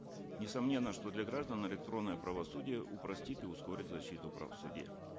несомненно что для граждан электронное правосудие упростит и ускорит защиту прав в суде